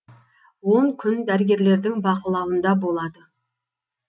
он күн дәрігерлердің бақылауында болады